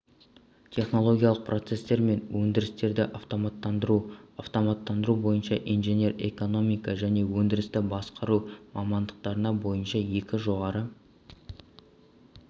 технологиялық процесстер мен өндірістерді автоматтандыру автоматтандыру бойынша инженер экономика және өндірісті басқару мамандықтары бойынша екі жоғары